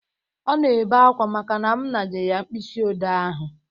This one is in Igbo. Ọ na-ebe akwa maka na m naje ya mkpịsị ode ahụ